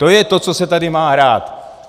To je to, co se tady má hrát.